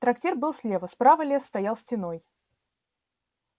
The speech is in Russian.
трактир был слева справа лес стоял стеной